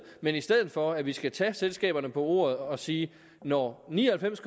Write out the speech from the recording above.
men i stedet for at vi skal tage selskaberne på ordet og sige at når ni og halvfems